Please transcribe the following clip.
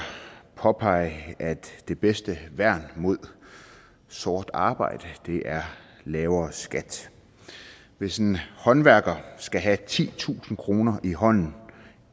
påpege at det bedste værn mod sort arbejde er lavere skat hvis en håndværker skal have titusind kroner i hånden